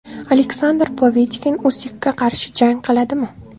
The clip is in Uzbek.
Aleksandr Povetkin Usikka qarshi jang qiladimi?